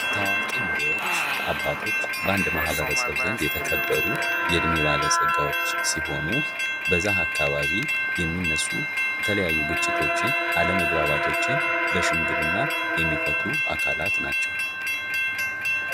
ታዋቂ መሪዎች አባቶች በአንድ ማህበረሰብ ዘንድ የተከበሩ የእድሜ ባለጸጎች ሲሆኑ በዛ አካባቢ የሚነሱ የተለያዩ ግጭቶችን አለመግባባቶችን በሽምግልና የሚፈቱ አካላት ናቸዉ።